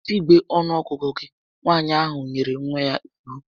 Bute igbe ọnuọgụgụ gị! Nwaanyị ahụ nyere nwa ya iwu